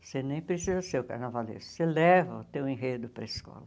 Você nem precisa ser o carnavalesco, você leva o seu enredo para a escola.